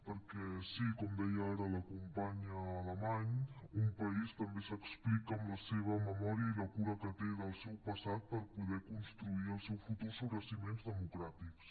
perquè sí com deia ara la companya alamany un país també s’explica amb la seva memòria i la cura que té del seu passat per poder construir el seu futur sobre fonaments democràtics